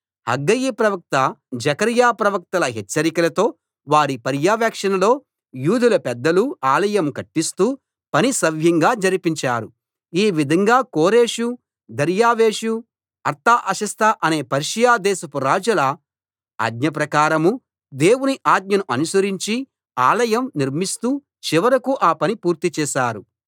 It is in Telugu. హగ్గయి ప్రవక్త జెకర్యా ప్రవక్తల హెచ్చరికలతో వారి పర్యవేక్షణలో యూదుల పెద్దలు ఆలయం కట్టిస్తూ పని సవ్యంగా జరిపించారు ఈ విధంగా కోరెషు దర్యావేషు అర్తహషస్త అనే పర్షియా దేశపు రాజుల ఆజ్ఞ ప్రకారం దేవుని ఆజ్ఞను అనుసరించి ఆలయం నిర్మిస్తూ చివరకూ ఆ పని పూర్తి చేశారు